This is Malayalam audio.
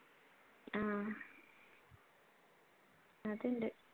ആഹ് അതുണ്ട്